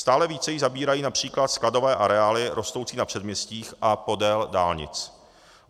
Stále více jí zabírají například skladové areály rostoucí na předměstích a podél dálnic.